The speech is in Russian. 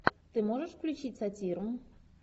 ты можешь включить сатиру